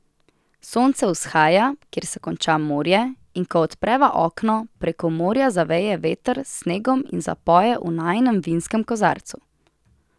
Sonce vzhaja, kjer se konča morje, in ko odpreva okno, preko morja zaveje veter s snegom in zapoje v najinem vinskem kozarcu.